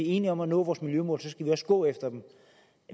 enige om at nå vores miljømål skal vi også gå efter dem